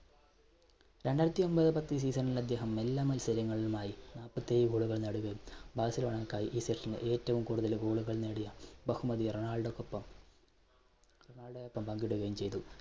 രണ്ടായിരത്തിഒൻപത്-പത്ത് season ൽ അദ്ദേഹം എല്ലാ മത്സരങ്ങളിലുമായി നാല്പത്തേഴ് goal കൾ നേടുകയും ബാഴ്സലോണക്കായി ഈ section ൽ ഏറ്റവും കൂടുതൽ goal കൾ നേടിയ ബഹുമതി റൊണാൾഡോക്ക് ഒപ്പം റൊണാൾഡോക്ക് ഒപ്പം പങ്കിടുകയും ചെയ്തു.